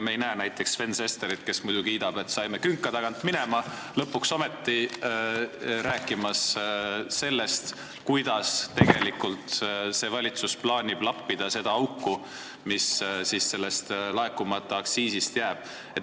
Me ei näe näiteks Sven Sesterit, kes muidu kiidab, et saime künka tagant minema, lõpuks ometi rääkimas sellest, kuidas tegelikult see valitsus plaanib lappida seda auku, mis laekumata aktsiisi tõttu on tekkinud.